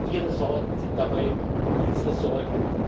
Ihre Sorgen sind dabei unsere Sorgen